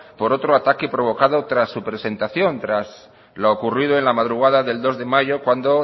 por otro ataque provocado tras su presentación tras lo ocurrido en la madrugada del dos de mayo cuando